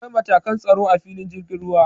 Akwai matakan tsaro a filin jirgin ruwa.